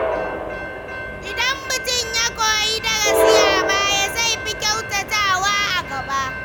Idan mutum ya koyi darasi a baya, zai fi kyautatawa a gaba.